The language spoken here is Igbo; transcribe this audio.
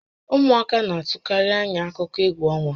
Ụmụaka na-atụkarị ányá akụkọ égwú ọnwa